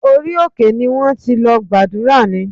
Ṣé orí òkè ni wọ́n ti lọ gbàdúrà ni?